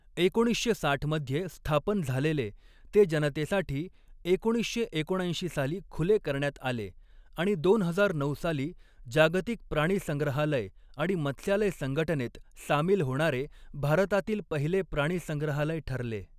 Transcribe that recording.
एकोणीसशे साठ मध्ये स्थापन झालेले ते जनतेसाठी एकोणीसशे एकोणऐंशी साली खुले करण्यात आले आणि दोन हजार नऊ साली जागतिक प्राणीसंग्रहालय आणि मत्स्यालय संगटनेत सामील होणारे भारतातील पहिले प्राणीसंग्रहालय ठरले.